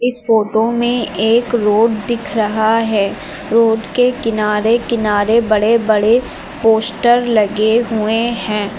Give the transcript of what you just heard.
इस फोटो में एक रोड दिख रहा है। रोड के किनारे किनारे बड़े-बड़े पोस्टर लगे हुए हैं।